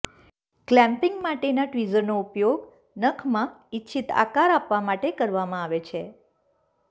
clamping માટેના ટ્વીઝરનો ઉપયોગ નખમાં ઇચ્છિત આકાર આપવા માટે કરવામાં આવે છે